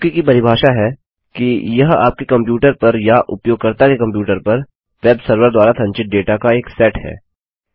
cookie की परिभाषा है कि यह आपके कंप्यूटर पर या उपयोगकर्ता के कंप्यूटर पर वेबसर्वर द्वारा संचित डेटा का एक सेट है